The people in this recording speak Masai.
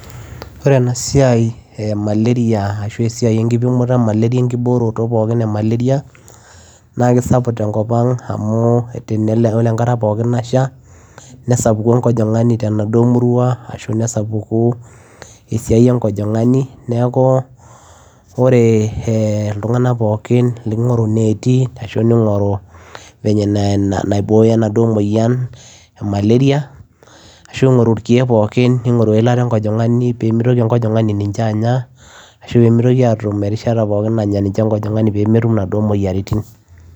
Ore ena siai ee malaria naa kisapuk tenkop ang oree enkata pookin nashaa nesapuku enkojongani temurua neeku oree ilntunganak pookin nigoruu inetii ashuu ingoruu venye naiboyoo enaduoo moyian ning'oruu eilataa enkojongani peyiee iboyoo imoyiaritin